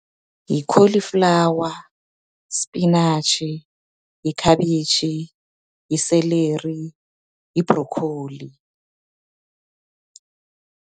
Yi-cauliflower, spinatjhi, yikhabitjhi, yi-celery, yi-broccoli.